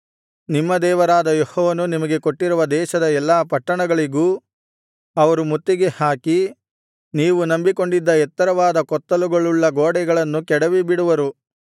ನಿಮ್ಮ ದೇವರಾದ ಯೆಹೋವನು ನಿಮಗೆ ಕೊಟ್ಟಿರುವ ದೇಶದ ಎಲ್ಲಾ ಪಟ್ಟಣಗಳಿಗೂ ಅವರು ಮುತ್ತಿಗೆಹಾಕಿ ನೀವು ನಂಬಿಕೊಂಡಿದ್ದ ಎತ್ತರವಾದ ಕೊತ್ತಲುಗಳುಳ್ಳ ಗೋಡೆಗಳನ್ನು ಕೆಡವಿಬಿಡುವರು